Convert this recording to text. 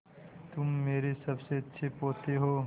तुम मेरे सबसे अच्छे पोते हो